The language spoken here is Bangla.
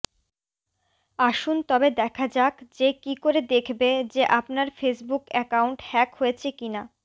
আসুন তবে দেখা যাক যে কি করে দেখবে যে আপনার ফেসবুক অ্যাকাউন্ট হ্যাক হয়েছে কিনা